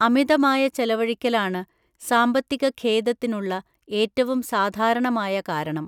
അമിതമായ ചെലവഴിക്കലാണ് സാമ്പത്തികഖേദത്തിനുള്ള ഏറ്റവും സാധാരണമായ കാരണം.